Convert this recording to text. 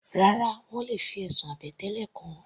Rárá, wọ́n le fi ẹ̀sùn àbẹ̀tẹ́lẹ̀ kàn ọ́.